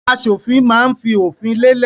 Aṣòfin máa ń fi òfin lélẹ̀.